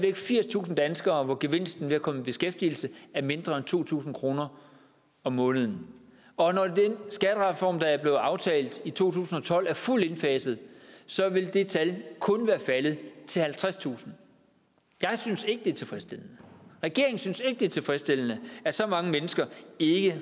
er firstusind danskere gevinsten ved at komme i beskæftigelse er mindre end to tusind kroner om måneden og når den skattereform der blev aftalt i to tusind og tolv er fuldt indfaset så vil det tal kun være faldet til halvtredstusind jeg synes ikke det er tilfredsstillende regeringen synes ikke det er tilfredsstillende at så mange mennesker ikke